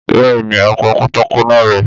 Bẹ́ẹ̀ni, a pa pátákó náà rẹ.